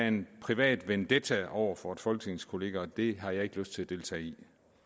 en privat vendetta over for en folketingskollega og det har jeg ikke lyst til at deltage i